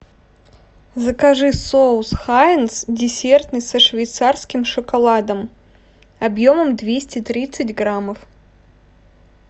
закажи соус хайнц десертный со швейцарским шоколадом объемом двести тридцать граммов